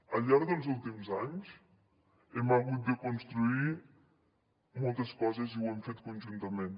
al llarg dels últims anys hem hagut de construir moltes coses i ho hem fet conjuntament